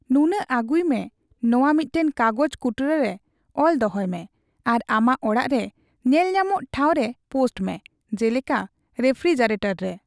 ᱱᱩᱱᱟᱹᱜ ᱟᱜᱩᱭ ᱢᱮ, ᱱᱚᱣᱟ ᱢᱤᱫᱴᱟᱝ ᱠᱟᱜᱚᱡᱽ ᱠᱩᱴᱨᱟᱹ ᱨᱮ ᱚᱞ ᱫᱚᱦᱚᱭ ᱢᱮ ᱟᱨ ᱟᱢᱟᱜ ᱚᱲᱟᱜ ᱨᱮ ᱧᱮᱞᱧᱟᱢᱚᱜ ᱴᱷᱟᱣ ᱨᱮ ᱯᱳᱥᱴ ᱢᱮ, ᱡᱮᱞᱮᱠᱟ ᱨᱮᱯᱷᱯᱷᱨᱤᱡᱟᱨᱮᱹᱴᱚᱨ ᱨᱮ ᱾